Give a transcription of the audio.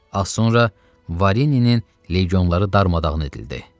Az sonra Varinin legionları darmadağın edildi.